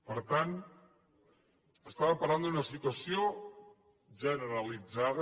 per tant estàvem parlant d’una situació generalitzada